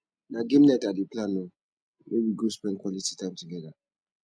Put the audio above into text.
na game night i dey plan o we go spend quality time together